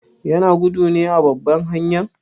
Yana gudu ne a babban hanyan?